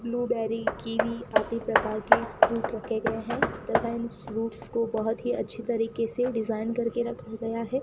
Blueberry kiwi आदि प्रकार के फ्रूट रखे गए हैं तथा इन फ्रूट्स को बहुत ही अच्छी तरीके से डिजाइन करके रखा गया है।